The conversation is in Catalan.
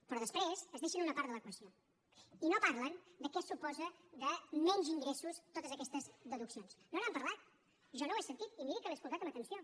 però després es deixen una part de l’equació i no parlen de què suposen de menys ingressos totes aquestes deduccions no n’han parlat jo no ho he sentit i miri que l’he escoltat amb atenció